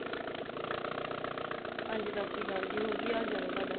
ਹਾਂਜੀ ਸਤਿ ਸ੍ਰੀ ਅਕਾਲ ਜੀ, ਹੋਰ ਕੀ ਹਾਲ ਚਾਲ ਹੈ ਤੁਹਾਡਾ?